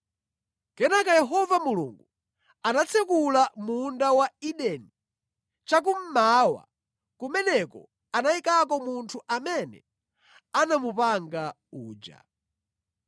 Kenaka Yehova Mulungu anatsekula munda wa Edeni chakummawa; kumeneko anayikako munthu amene anamupanga uja.